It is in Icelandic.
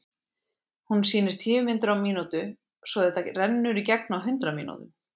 Hún sýnir tíu myndir á mínútu svo þetta rennur í gegn á hundrað mínútum.